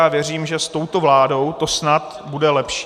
Já věřím, že s touto vládou to snad bude lepší.